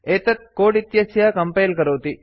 एतत् कोड् इत्यस्य कम्पैल् करोति